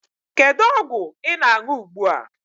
Kedu ọgwụ ị na-aṅụ ugbu a?